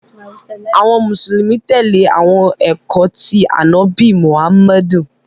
Awọn Musulumi tẹle awọn ẹkọ ti Anabi Muhammad.